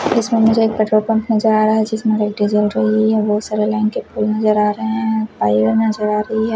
इसमें मुझे एक पेट्रोल पंप नजर आ रहा है जिसमें लाइटें जल रही हैं बहोत सारे लाइन के फूल नजर आ रहे हैं नजर आ रही है।